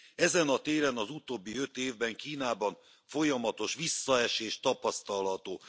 Ezen a téren az utóbbi öt évben Kínában folyamatos visszaesés tapasztalható.